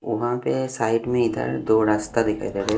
वहाँ पे साइड में इधर दो रास्ता दिखाई दे रहा है।